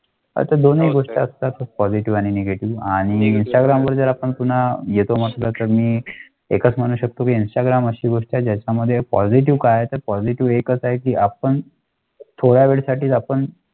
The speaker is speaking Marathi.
आता दोन्ही गुजरात कॉलेजवाणी निघाली आणि विचारांवर आपण पुन्हा येतो. मस्तकीं एकच म्हणू शकतो घ्यायचा ग्रामस्थ वर्षाच्या मध्ये कॉल की आपण? थोड्या वेळासाठी आपण.